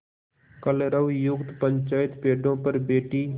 कलरवयुक्त पंचायत पेड़ों पर बैठी